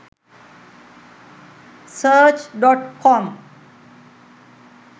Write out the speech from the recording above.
search.com